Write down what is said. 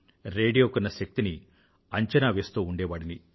radio కున్న శక్తిని అంచనా వేస్తూ ఉండేవాడిని